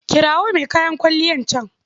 Kirawo mai kayan kwalliyan can.